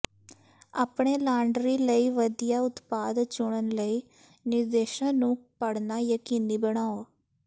ਆਪਣੇ ਲਾਂਡਰੀ ਲਈ ਵਧੀਆ ਉਤਪਾਦ ਚੁਣਨ ਲਈ ਨਿਰਦੇਸ਼ਾਂ ਨੂੰ ਪੜ੍ਹਨਾ ਯਕੀਨੀ ਬਣਾਓ